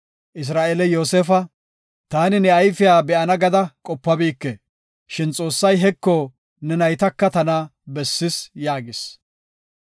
Isra7eeley Yoosefa, “Taani ne ayfiya be7ana gada qopabike, shin Xoossay heko ne naytaka tana bessis” yaagis.